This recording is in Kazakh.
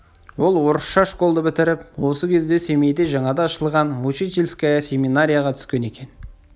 ол орысша школды бітіріп осы кезде семейде жаңада ашылған учительская семинарияға түскен екен